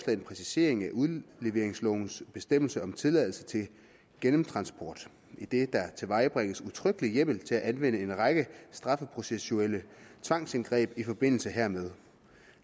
en præcisering af udleveringslovens bestemmelser om tilladelse til gennemtransport idet der tilvejebringes udtrykkelig hjemmel til at anvende en række strafprocessuelle tvangsindgreb i forbindelse hermed